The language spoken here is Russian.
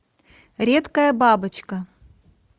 редкая бабочка